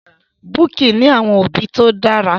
Bukky ní àwọn òbí tó dára.